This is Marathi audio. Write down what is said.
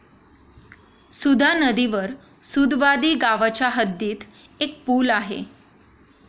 सुधा नदीवर सुदवादी गावाच्या हद्दीत एक पूल आहे.